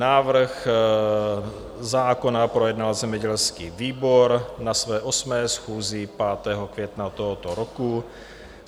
Návrh zákona projednal zemědělský výbor na své 8. schůzi 5. května tohoto roku.